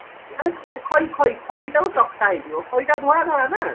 ମାନେ ଖଇ ଖଇ ଖଇ ଖଇଟାକୁ ଚକଟା ହେଇଯିବା ଖଇଟା ଧଳା ଧଳା ନାଁ